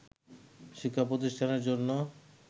শিক্ষাপ্রতিষ্ঠানের জন্য